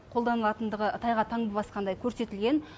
қолданылатындығы тайға таңба басқандай көрсетілген